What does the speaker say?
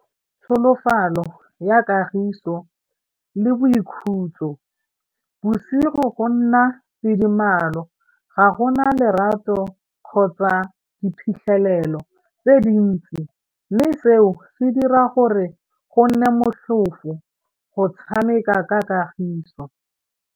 Tlholofalo ya kagiso le boikhutso bosigo go nna tidimalo ga gona lerato kgotsa diphitlhelelo tse dintsi mme seo se dira gore go nne motlhofo go tshameka ka kagiso.